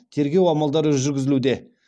тергеу амалдары жүргізілуде